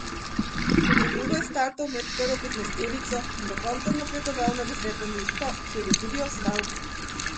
Tudi v drugo je startal med prvo petnajsterico in do konca napredoval na deseto mesto, kjer je tudi ostal.